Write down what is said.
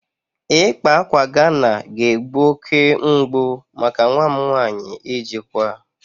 Ịkpa ákwà Ghana ga-egbu oke mgbu maka nwa m nwanyị ijikwa